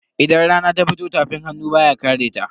Idan rana ta fito tafin hannu baya kareta.